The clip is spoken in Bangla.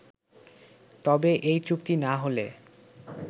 তবে এই চুক্তি না হলে